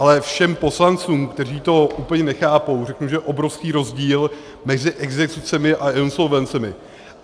Ale všem poslancům, kteří to úplně nechápou, řeknu, že je obrovský rozdíl mezi exekucemi a insolvencemi.